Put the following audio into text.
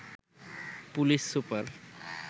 police super